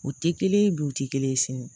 U tɛ kelen ye bi u tɛ kelen ye sini